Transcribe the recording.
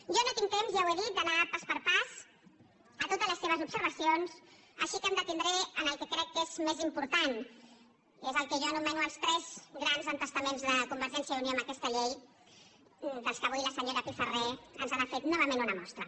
jo no tinc temps ja ho he dit d’anar pas per pas a totes les seves observacions així que em detindré en el que crec que és més important és el que jo anomeno els tres grans entestaments de convergència i unió en aquesta llei dels quals avui la senyora pifarré ens ha fet novament una mostra